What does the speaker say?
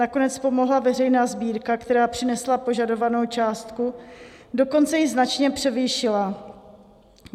Nakonec pomohla veřejná sbírka, která přinesla požadovanou částku, dokonce ji značně převýšila.